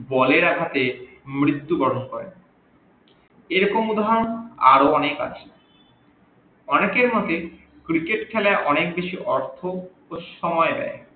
বলের আঘাতে মৃত্যু বরন করে এইরকম উদাহরন আরও অনেক আছে অনেকে ভাবে cricket খেলাই অনেক বেশি অর্থ ও সময় নেই